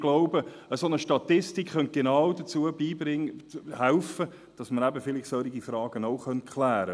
Ich glaube, genau eine solche Statistik könnte helfen, dass man eben solche Fragen auch klären könnte: